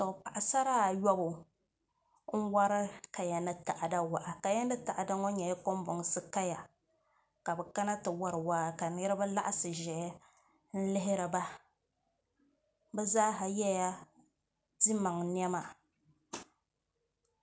Paɣasara ayobu n wori kaya ni taada waa kaya ni taada ŋɔ nyɛla kanbonsi kaya ka bi kana ti wori waa ka niraba laɣasi ʒɛya n lihiriba bi zaaha yɛla dimaŋ niɛma